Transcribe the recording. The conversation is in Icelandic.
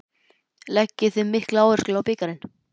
Leggið þið mikla áherslu á bikarinn?